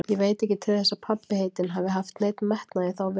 Ég veit ekki til þess að pabbi heitinn hafi haft neinn metnað í þá veru.